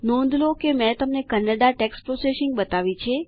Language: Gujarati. નોંધ લો કે મેં તમને કન્નડા ટેક્સ્ટ પ્રોસેસિંગ બતાવી છે